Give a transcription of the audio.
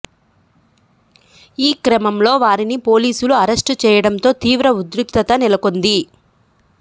ఈ క్రమంలో వారిని పోలీసులు అరెస్టు చేయడంతో తీవ్ర ఉద్రిక్తత నెలకొంది